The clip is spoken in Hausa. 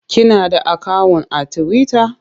Kina da akawun a tiwita?